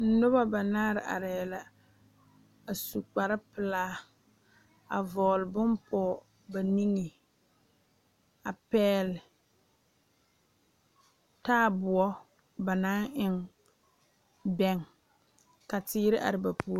Noba banaare arɛɛ la a su kpar pelaa a vɔgele bon pɔge ba niŋe a pɛgele taaboɔ ba naŋ eŋ bɛŋe a teere are ba puori